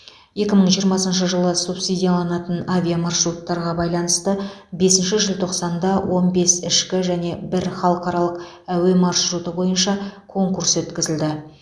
екі мың жиырмасыншы жылы субсидияланатын авиамаршруттарға байланысты бесінші желтоқсанда он бес ішкі және бір халықаралық әуе маршруты бойынша конкурс өткізілді